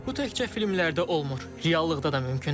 Bu təkcə filmlərdə olmur, reallıqda da mümkündür.